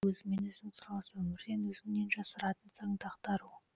өзіңмен өзің сырласу өмірден өзіңнен жасыратын сырыңды ақтару